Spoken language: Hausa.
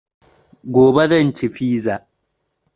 Gobe zan ci fiza